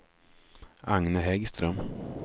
Agne Häggström